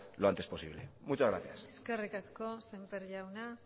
lo antes posible muchas gracias eskerrik asko semper jauna